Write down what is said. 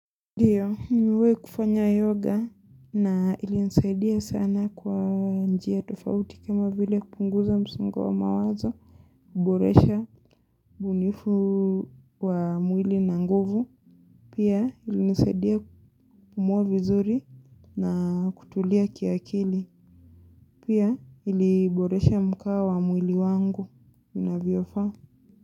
Ndiyo, nimewahi kufanya yoga na ilinisaidia sana kwa njia tofauti kama vile kupunguza msongo wa mawazo, kuboresha ubunifu wa mwili na nguvu, pia ilinisaidia kupumua vizuri na kutulia kiakili, pia iliboresha mkao wa mwili wangu unavyofaa.